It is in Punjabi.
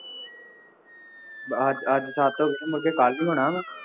ਅੱਜ ਅੱਜ ਸੱਤ ਹੋ ਗਏ, ਮੁੜਕੇ ਕੱਲ੍ਹ ਨੂੰ ਹੀ ਹੋਣਾ ਵਾ